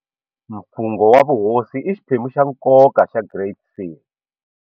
Mfungho wa vuhosi i xiphemu xa nkoka xa Great Seal.